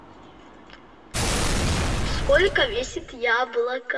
сколько весит яблоко